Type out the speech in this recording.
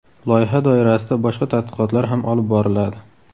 Loyiha doirasida boshqa tadqiqotlar ham olib boriladi.